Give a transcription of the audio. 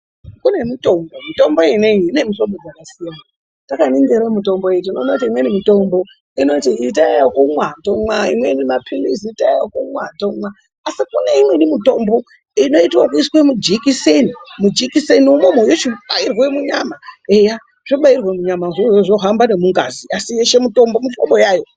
Kune mitombo, mitombo ineyi ine mihlobo dzakasiyana takaningira mitombo iyi tinoona kuti imweni mitombo inoti itai yekumwa tomwa, imweni maphilizi itai yekumwa tomwa asi kune imweni mitombo inoitwe ekuiswa mujekiseni , mujekiseni umomo yochibairwe munyama eya zvabairwe munyamazvo izvozvo zvohamba nemungazi asinyeshe mutombo muhlobonyayo.